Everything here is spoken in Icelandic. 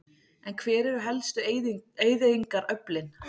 En hver eru helstu eyðingaröflin?